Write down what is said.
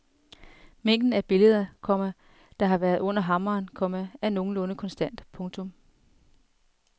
Mængden af billeder, komma der har været under hammeren, komma er nogenlunde konstant. punktum